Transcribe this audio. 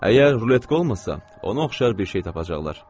Əgər ruletka olmasa, ona oxşar bir şey tapacaqlar.